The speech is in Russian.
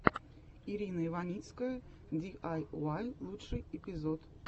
ирина иваницкая ди ай уай лучший эпизод